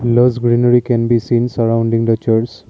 grass greenary can be seen surrounding the church.